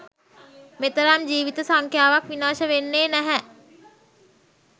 මෙතරම් ජීවිත සංඛ්‍යාවක් විනාශ වෙන්නේ නැහැ.